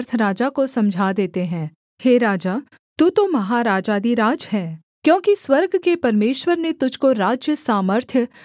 हे राजा तू तो महाराजाधिराज है क्योंकि स्वर्ग के परमेश्वर ने तुझको राज्य सामर्थ्य शक्ति और महिमा दी है